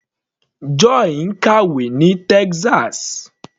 Joy ń kàwé ní Texas.